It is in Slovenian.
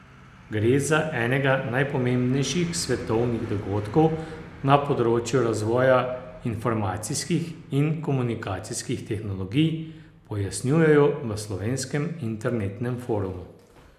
Gre za enega najpomembnejših svetovnih dogodkov na področju razvoja informacijskih in komunikacijskih tehnologij, pojasnjujejo v Slovenskem internetnem forumu.